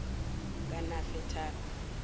kanafetali